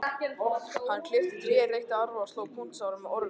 Hann klippti tré, reytti arfa og sló puntstráin með orfi.